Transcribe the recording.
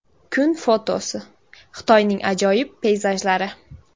Kun fotosi: Xitoyning ajoyib peyzajlari.